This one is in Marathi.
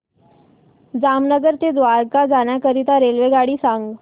जामनगर ते द्वारका जाण्याकरीता रेल्वेगाडी सांग